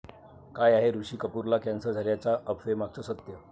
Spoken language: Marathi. काय आहे ऋषी कपूरला कॅन्सर झाल्याच्या अफवेमागचं सत्य?